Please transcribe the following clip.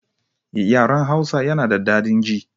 Yaran Hausa yana da dadin ji